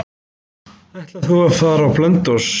Ætlar þú að fara til Blönduóss?